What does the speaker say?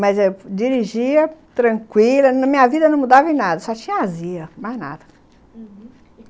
Mas eu dirigia tranquila, na minha vida não mudava em nada, só tinha azia, mais nada, uhum.